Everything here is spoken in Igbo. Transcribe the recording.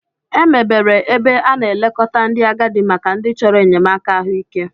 Emebere ebe a na-elekọta ndị agadi maka ndị chọrọ enyemaka ahụike.